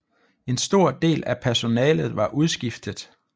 En stor del af personalet var udskiftet